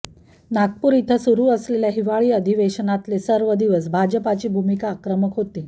नागपूर इथं सुरू असलेल्या हिवाळी अधिवेशनातले सर्व दिवस भाजपची भूमिका आक्रमक होती